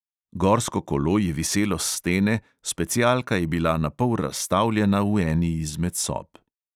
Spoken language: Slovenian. Gorsko kolo je viselo s stene, specialka je bila napol razstavljena v eni izmed sob.